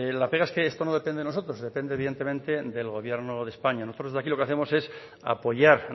la pega es que esto no depende de nosotros depende evidentemente del gobierno de españa nosotros desde aquí lo que hacemos es apoyar